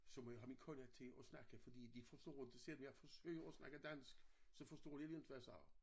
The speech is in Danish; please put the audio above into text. Så må jeg have min kone til at snakke fordi de forstår inte selvom jeg forsøger at snakke dansk så forstår de inte hvad jeg siger